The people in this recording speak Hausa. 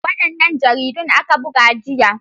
Wadannan jaridun aka buga jiya.